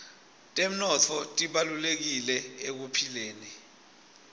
temnotfo tibalulekile ekuphileni